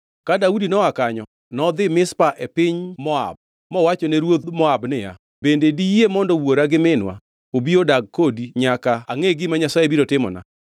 Ka Daudi noa kanyo nodhi Mizpa e piny Moab mowachone ruoth Moab niya, “Bende diyie mondo wuora gi minwa obi odag kodi nyaka angʼe gima Nyasaye biro timona?”